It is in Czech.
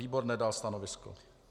Výbor nedal stanovisko.